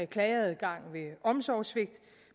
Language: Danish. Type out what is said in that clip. klageadgang ved omsorgssvigt